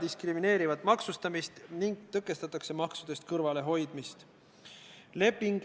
Aga kui Riigikogu juhatus võtab vastu otsuse, et eelnõu lugemine katkestatakse, siis seda otsust ei tule saalil hääletada.